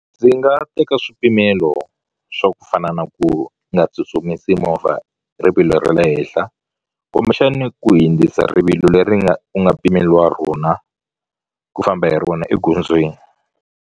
Ndzi nga teka swipimelo swa ku fana na ku nga tsutsumisi movha rivilo ra le henhla kumbexani ku hindzisa rivilo leri nga u nga pimeliwa rona ku famba hi rona egondzweni.